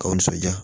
K'aw nisɔndiya